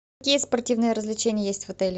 какие спортивные развлечения есть в отеле